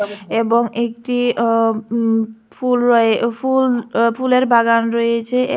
এবং একটি অ উ ফুল রয়ে ফুল ফুলের বাগান রয়েছে এ--